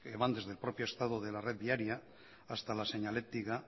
van desde el propio estado de la red viaria hasta la señalectica